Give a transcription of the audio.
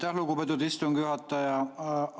Aitäh, lugupeetud istungi juhataja!